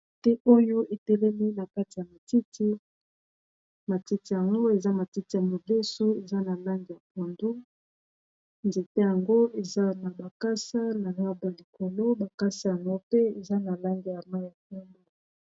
te oyo etelemi na kati ya matiti matiti yango eza matiti ya modeso eza na lange ya pondo nzete yango eza na bakasa na naba likolo bakasi yango pe eza na lange ya ma ya pondo